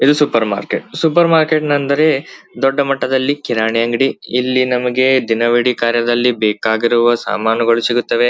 ಇದು supermarket supermarket ಅಂದರೆ ದೊಡ್ಡ ಮಟ್ಟದಲ್ಲಿ ಕಿರಾಣಿ ಅಂಗಡಿ ಇಲ್ಲಿ ನಮಗೆ ದಿನವಿಡಿ ಕಾರ್ಯದಲ್ಲಿ ಬೇಕಾಗಿರುವ ಸಾಮಾನುಗಳು ಸಿಗುತ್ತವೆ.